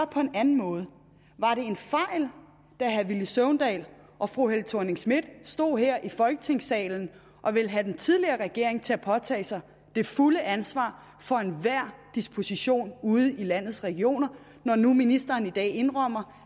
på en anden måde var det en fejl da herre villy søvndal og fru helle thorning schmidt stod her i folketingssalen og ville have den tidligere regering til at påtage sig det fulde ansvar for enhver disposition ude i landets regioner når nu ministeren i dag indrømmer